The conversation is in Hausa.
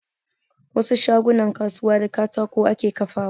Wasu shagunan kasuwa da katako ake kafawa